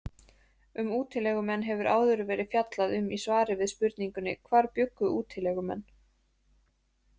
Um útilegumenn hefur áður verið fjallað um í svari við spurningunni Hvar bjuggu útilegumenn?